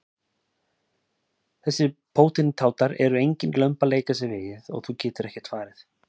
Þessir pótintátar eru engin lömb að leika sér við og þú getur ekkert farið.